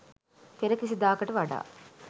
පෙර කිසිදාකට වඩා